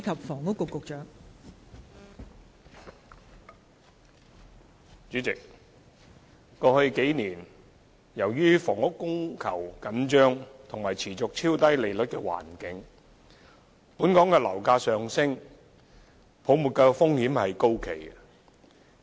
代理主席，過去數年，由於房屋供求緊張及持續超低利率的環境，本港樓價上升，泡沫風險高企。